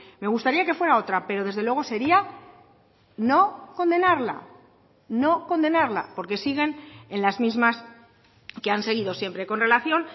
me gustaría que fuera otra pero desde luego sería no condenarla no condenarla porque siguen en las mismas que han seguido siempre con relación